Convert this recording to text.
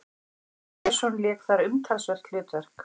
Sveinn Björnsson lék þar umtalsvert hlutverk.